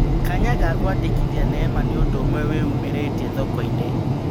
Kanya ga kũandĩkithia Neema nĩũndũ-ũmwe wĩyumĩrĩtie thokoinĩ.